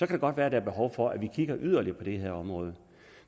det godt være at der er behov for at vi kigger yderligere på det her område